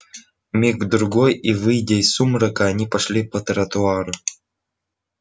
миг другой и выйдя из сумрака они пошли по тротуару